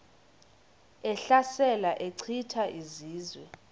ehlasela echitha izizwe